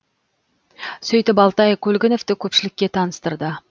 сөйтіп алтай көлгіновті көпшілікке таныстырды